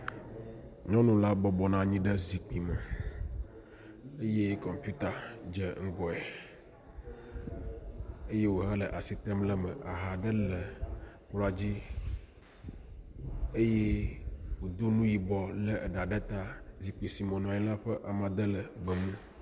Nyɔnu la bɔbɔ nɔ anyi ɖe zikpui me eye kɔmpita dze ŋgɔe eye wòhele asi tem ɖe me. Aha ɖe le kplɔa dzi eye wòdo nu yibɔ, lé eɖa ɖe ta. Zikpui si me wònɔ anyi la ƒe amadede le gbemu.